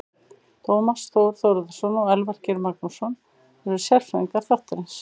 Tómas Þór Þórðarson og Elvar Geir Magnússon eru sérfræðingar þáttarins.